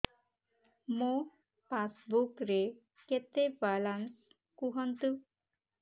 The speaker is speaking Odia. ମୋ ପାସବୁକ୍ ରେ କେତେ ବାଲାନ୍ସ କୁହନ୍ତୁ